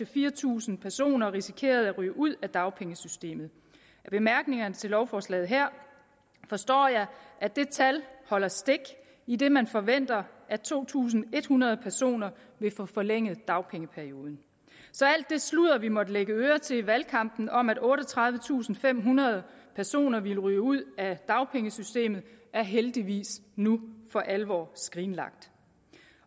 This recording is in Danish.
fire tusind personer risikerede at ryge ud af dagpengesystemet af bemærkningerne til lovforslaget her forstår jeg at det tal holder stik idet man forventer at to tusind en hundrede personer vil få forlænget dagpengeperioden så alt det sludder vi måtte lægge øre til i valgkampen om at otteogtredivetusinde og femhundrede personer ville ryge ud af dagpengesystemet er heldigvis nu for alvor skrinlagt